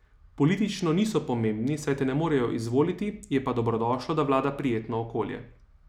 Politično niso pomembni, saj te ne morejo izvoliti, je pa dobrodošlo, da vlada prijetno okolje.